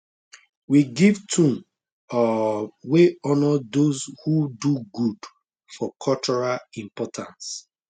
he give tune um wey honour those who do good for cultural importance